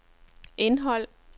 indhold